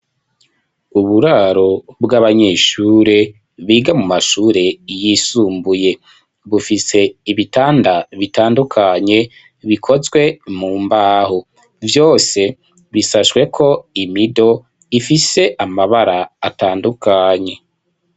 Uburaro bw'abanyeshure biga mu mashure yisumbuye bufise ibitanda bitandukanye bikozwe mu mbaho vyose bisashweko imido ifise amabara atandukanye.